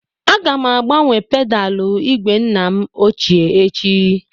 Aga m agbanwe pedalụ igwe nna m ochie echi